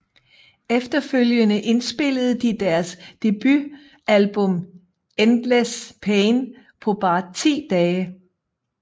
Efterfølgende indspillede de deres debutalbum Endless Pain på bare ti dage